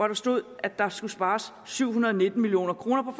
der stod at der skal spares syv hundrede og nitten million kroner på